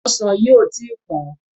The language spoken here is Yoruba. Ọsàn yìí ò tí ì pọ̀n-ọ́n.